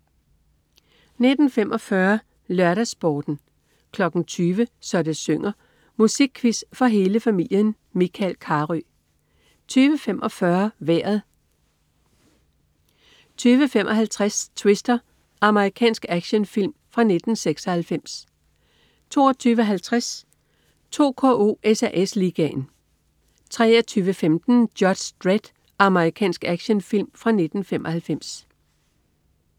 19.45 LørdagsSporten 20.00 Så det synger. Musikquiz for hele familien. Michael Carøe 20.45 Vejret 20.55 Twister. Amerikansk actionfilm fra 1996 22.50 2KO: SAS Ligaen 23.15 Judge Dredd. Amerikansk actionfilm fra 1995